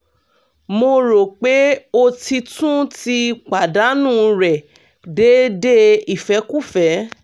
mo ro pe o ti tun ti padanu rẹ deede ifẹkufẹ